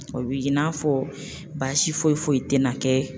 O bi k'i n'a fɔ baasi foyi foyi tɛna kɛ